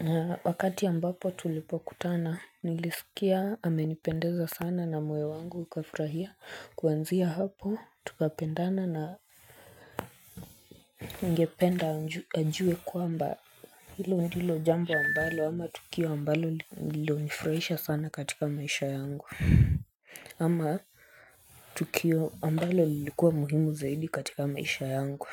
Na wakati ambapo tulipo kutana nilisikia amenipendeza sana na moyo wangu ukafurahia kuanzia hapo tukapendana na. Ningependa ajue kwamba hilo ndilo jambo wa ambalo ama tukio wa ambalo lilo nifurahisha sana katika maisha yangu ama tukio ambalo lilikuwa muhimu zaidi katika maisha yangu.